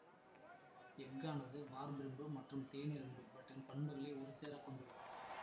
எஃகானது வார்ப்பிரும்பு மற்றும் தேனிரும்பு இவற்றின் பண்புகளை ஒருசேரக் கொண்டுள்ளது